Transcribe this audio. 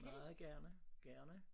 Meget gerne gerne